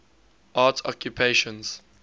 arts occupations